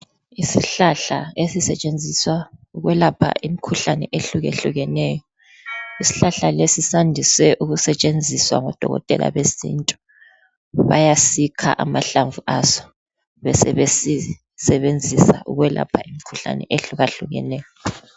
Isihlahla esisetshenziswa ukwelapha imkhuhlane ehlukehlukeneyo. Isihlahla lesi sandise ukusetshenziswa ngodokotela besintu. Bayasikha amahlamvu aso besebesisebenzisa ukwelapha imkhuhlane ehlukahlukeneyo.